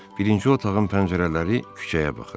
Birinci otağın pəncərələri küçəyə baxır.